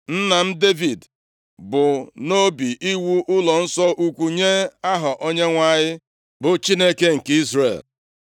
“Nna m, Devid bu nʼobi iwu ụlọnsọ ukwu nye Aha Onyenwe anyị, bụ Chineke nke Izrel.